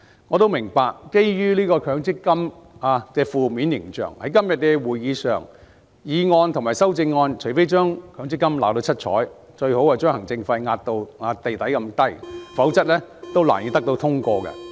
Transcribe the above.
我也明白，基於強積金的負面形象，在今天的會議上，除非議案及修正案將強積金"鬧到七彩"，最好把行政費壓至極低，否則難以獲得通過。